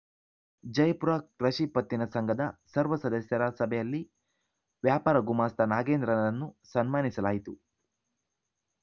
ಜಯಪುರ ಕೃಷಿ ಪತ್ತಿನ ಸಂಘದ ಸರ್ವ ಸದಸ್ಯರ ಸಭೆಯಲ್ಲಿ ವ್ಯಾಪಾರ ಗುಮಾಸ್ತ ನಾಗೇಂದ್ರರನ್ನು ಸನ್ಮಾನಿಸಲಾಯಿತು